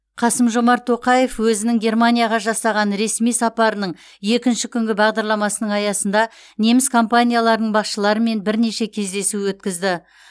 қасым жомарт тоқаев өзінің германияға жасаған ресми сапарының екінші күнгі бағдарламасының аясында неміс компанияларының басшыларымен бірнеше кездесу өткізді